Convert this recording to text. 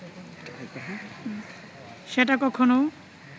সেটা কখনও